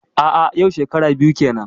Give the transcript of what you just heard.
A'a yau shekara biyu kenan.